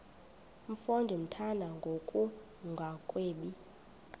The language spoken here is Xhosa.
mfo ndimthanda ngokungagwebi